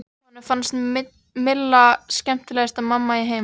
Honum fannst Milla skemmtilegasta mamma í heimi.